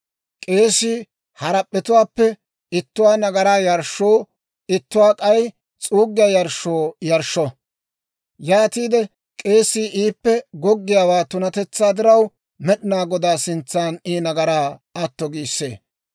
K'eesii harap'p'etuwaappe ittuwaa nagaraa yarshshoo ittuwaa k'ay s'uuggiyaa yarshshoo yarshsho. Yaatiide k'eesii iippe goggiyaawaa tunatetsaa diraw Med'inaa Godaa sintsan I nagaraa atto giissee.